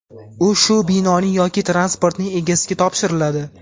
u shu binoning yoki transportning egasiga topshiriladi.